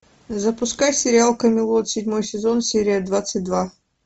запускай сериал камелот седьмой сезон серия двадцать два